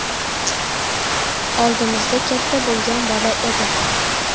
Oldimizda katta bo‘lgan bola edi”.